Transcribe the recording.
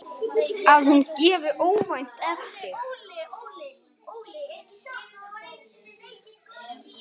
Að hún gefi óvænt eftir.